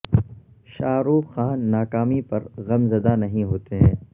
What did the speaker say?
شاہ رخ خان ناکامی پر غم زدہ نہیں ہوتے ہیں